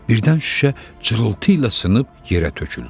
Birdən şüşə cırıltı ilə sınıb yerə töküldü.